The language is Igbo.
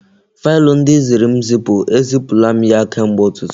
Faịlụ ndị ị ziri m zipu, e zipula m ya kemgbe ụtụtụ